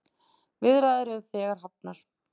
Viðræður eru þegar hafnar.